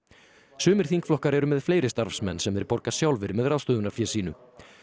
sumir þingflokkar eru með fleiri starfsmenn sem þeir borga sjálfir með ráðstöfunarfé sínu